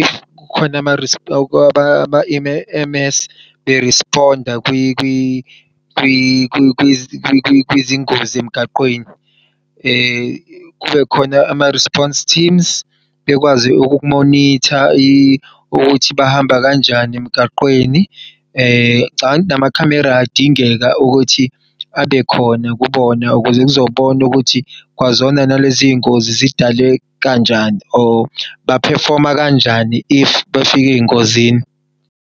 if kukhona ama-E_M_S be-respond-a kwizingozi emgaqweni. Kubekhona ama-response teams bekwazi ukuthi ukumonitha ukuthi bahamba kanjani emgaqweni, ngicabang' ukuthi namakhamera ayadingeka ukuthi abekhona kubona ukuze kuzobona ukuthi kwazona nalezi ngozi zidale kanjani, or ba-perform-a kanjani if bafik'ey'ngozini.